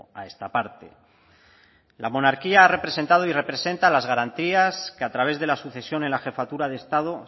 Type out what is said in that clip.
a esta parte la monarquía ha representado y representa las garantías que a través de la sucesión en la jefatura de estado